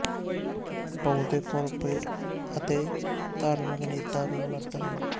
ਬਹੁਤੇ ਕਾਰਪੋਰੇਟ ਅਤੇ ਧਾਰਮਿਕ ਨੇਤਾ ਵੀ ਮਰਦ ਹਨ